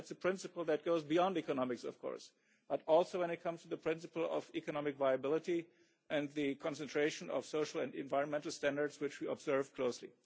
That is a principle that goes beyond economics, of course, but also when it comes to the principle of economic viability and the concentration of social and environmental standards which we observe closely.